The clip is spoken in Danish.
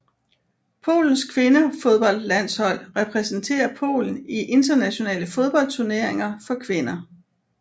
Polens kvindefodboldlandshold repræsenterer Polen i internationale fodboldturneringer for kvinder